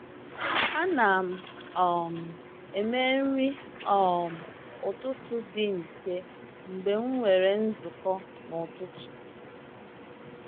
Ana m um eme nri um ụtụtụ dị mfe mgbe m nwere nzukọ n’ụtụtụ. nzukọ n’ụtụtụ.